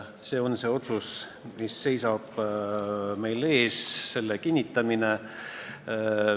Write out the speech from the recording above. See on see otsus, mille kinnitamine seisab meil ees.